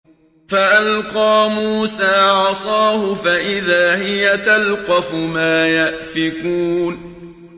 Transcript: فَأَلْقَىٰ مُوسَىٰ عَصَاهُ فَإِذَا هِيَ تَلْقَفُ مَا يَأْفِكُونَ